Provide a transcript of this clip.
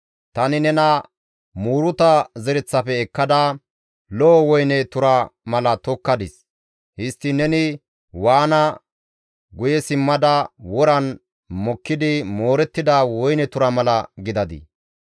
Tani nena muuruta zereththafe ekkada, lo7o woyne tura mala tokkadis. Histtiin neni waana guye simmada woran mokkidi moorettida woyne tura mala gidadii?